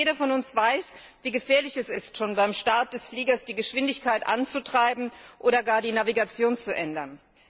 Jeder von uns weiß, wie gefährlich es ist, beim Start des Flugzeuges die Geschwindigkeit anzutreiben oder gar die Navigation zu ändern.